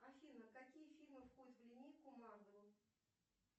афина какие фильмы входят в линейку марвел